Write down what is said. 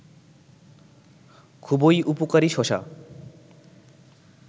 খুবই উপকারী শশা